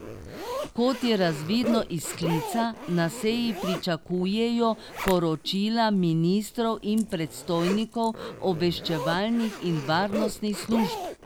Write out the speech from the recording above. Kot je razvidno iz sklica, na seji pričakujejo poročila ministrov in predstojnikov obveščevalnih in varnostnih služb.